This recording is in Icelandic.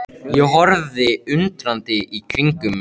Ég horfði undrandi í kringum mig.